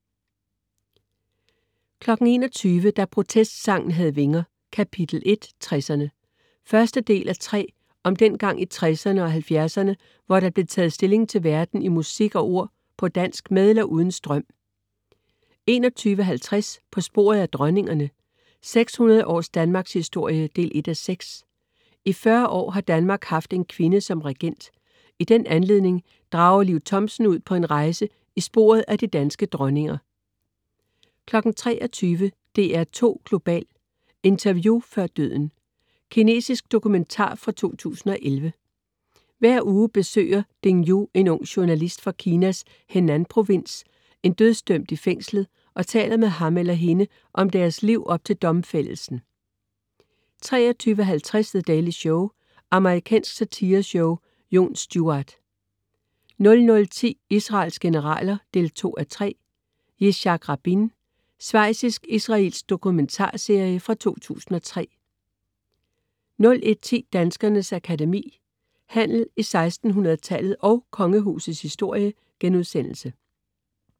21.00 Da protestsangen havde vinger. Kap. 1, 60'erne. Første del af 3 om den gang i 60'erne og 70'erne, hvor der blev taget stilling til verden i musik og ord på dansk, med eller uden strøm 21.50 På sporet af dronningerne, 600 års Danmarkshistorie 1:6. I 40 år har Danmark haft en kvinde som regent. I den anledninger drager Liv Thomsen ud på en rejse i sporet af de danske dronninger 23.00 DR2 Global: Interview før døden. Kinesisk dokumentar fra 2011. Hver uge besøger Ding Yu, en ung journalist fra Kinas Henanprovins, en dødsdømt i fængslet og taler med ham eller hende om deres liv op til domfældelsen 23.50 The Daily Show. Amerikansk satireshow. Jon Stewart 00.10 Israels generaler 2:3. Yitzhak Rabin. Svejtsisk/israelsk dokumentarserie fra 2003 01.10 Danskernes Akademi: Handel i 1600-tallet & Kongehusets historie*